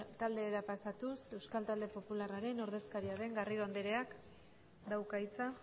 taldera pasatuz euskal talde popularraren ordezkaria den garrido andreak dauka hitza